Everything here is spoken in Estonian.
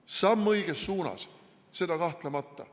See on samm õiges suunas, seda kahtlemata.